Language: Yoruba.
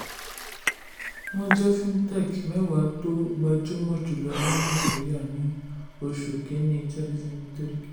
wọ́n jẹ́ fintech mẹ́wàá tó um gbajúmọ̀ jùlọ ní nàìjíríà ní oṣù um kìíní tenty twenty three.